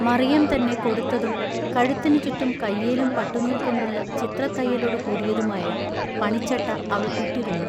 മറിയം തന്നെ കൊടുത്തതും കഴുത്തിനു ചുറ്റും കയ്യേലും പട്ടുനൂൽകൊണ്ടുള്ള ചിത്രത്തയ്യലൊടു കൂടിയതുമായ പണിച്ചട്ട അവൾ ഇട്ടിരുന്നു.